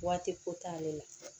Waati ko t'ale la